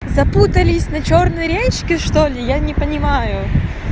запутались на чёрной речке что-ли я не понимаю